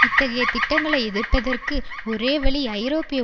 இத்தகைய திட்டங்களை எதிர்ப்பதற்கு ஒரே வழி ஐரோப்பிய